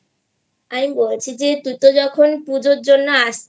আমি বলছি তুই তো যখন পুজোর জন্য আসছিস